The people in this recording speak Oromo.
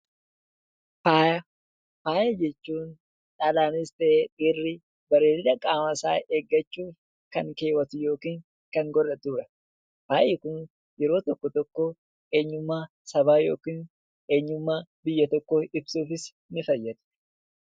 Faaya jechuun dhalaanis ta'e dhiirri bareedina qaama isaa eeggachuuf kan keewwatu yookiin kan godhatu dha. Faayi kun yeroo tokko tokko eenyummaa sabaa yookiin eenyummaa biyya tokkoo ibsuufis ni fayyada.